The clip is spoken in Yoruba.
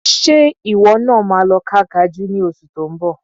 Ṣe ìwọ náà máa lọ ká Kajú ní oṣù tó ń bọ̀?